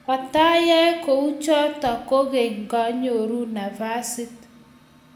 Katayae kuchutok kokeny nganyoru nafasit